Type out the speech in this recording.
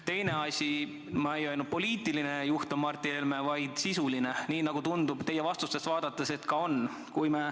Teine asi – ma ei öelnud, et Martin Helme on poliitiline juht, vaid sisuline juht, nii nagu teie vastuseid vaadates tundub, et on.